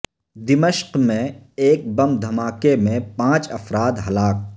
دمشق میں ایک بم دھماکے میں پانچ افراد ہلاک